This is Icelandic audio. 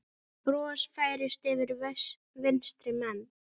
Bros færist yfir vinstri menn.